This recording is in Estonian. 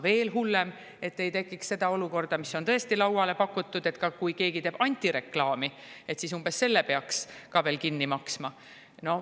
Veel hullem, et ei tekiks seda olukorda, mida on tõesti lauale pakutud, et kui keegi teeb antireklaami, siis peaks ka selle kinni maksma.